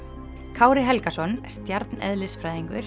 Kári Helgason